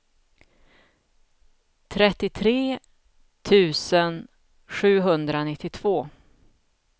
trettiotre tusen sjuhundranittiotvå